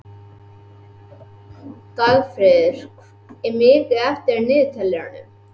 Dagfríður, hvað er mikið eftir af niðurteljaranum?